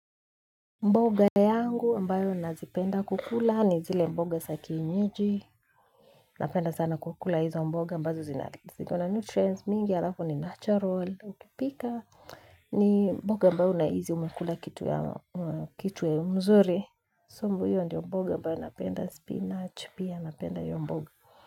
Mboga yangu ambayo nazipenda kukula ni zile mboga sa keinyeji. Napenda sana kukula hizo mboga ambazo zina zikona nutrients mingi alafu ni natural. Ukipika ni mboga ambayo unahizi umekula kitu ya mzuri. Hiyo ndiyo mboga ambayo napenda spinach pia napenda hiyo mboga.